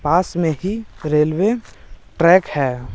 पास में ही railway track है।